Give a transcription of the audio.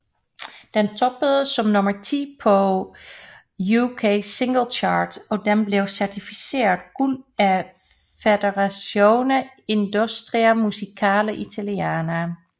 Den toppede som nummer 10 på UK Singles Chart og den blev certificeret guld af Federazione Industria Musicale Italiana